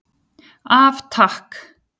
Af Takk.